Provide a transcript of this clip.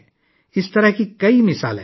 ایسی بہت سی مثالیں ہیں